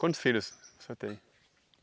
Quantos filhos você tem?